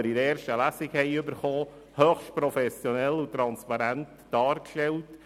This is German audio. Dort werden die Auswirkungen der Neubewertung höchst professionell und transparent dargestellt.